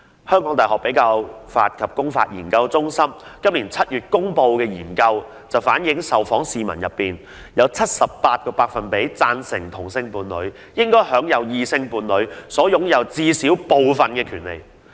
香港大學比較法及公法研究中心在本年7月公布了一項研究結果，當中指出在受訪市民中，有 78% 贊成同性伴侶應享有異性伴侶所擁有的部分或所有權利。